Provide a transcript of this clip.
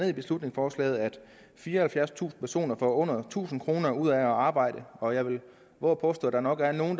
i beslutningsforslaget at fireoghalvfjerdstusind personer får under tusind kroner ud af at arbejde og jeg vil vove at påstå at der nok er nogen